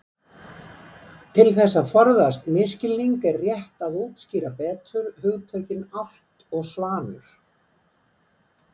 Til þess að forðast misskilning er rétt að útskýra betur hugtökin álft og svanur.